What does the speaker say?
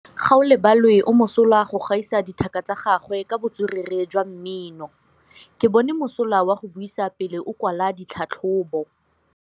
Gaolebalwe o mosola go gaisa dithaka tsa gagwe ka botswerere jwa mmino. Ke bone mosola wa go buisa pele o kwala tlhatlhobô.